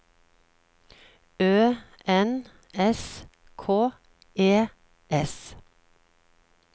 Ø N S K E S